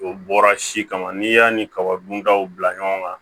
O bɔra si kama n'i y'a ni kaba dun daw bila ɲɔgɔn na